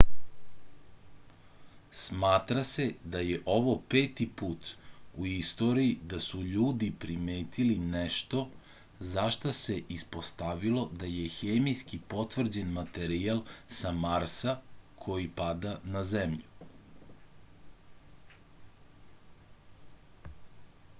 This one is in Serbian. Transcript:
smatra se da je ovo peti put u istoriji da su ljudi primetili nešto za šta se ispostavilo da je hemijski potvrđen materijal sa marsa koji pada na zemlju